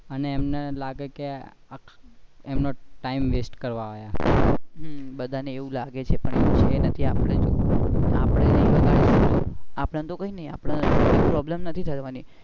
અને એમને લાગે કે આપણે એમનો time west કરવા આયા. બધા ને એવું લાગે છે પણ છે નથિ આપણે ને તો કઈ problem નથી થવાની,